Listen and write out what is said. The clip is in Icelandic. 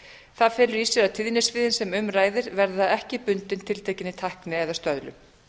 það felur í sér að tíðnisviðin sem um ræðir verða ekki bundin tiltekinni tækni eða stöðlun